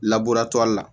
labureli la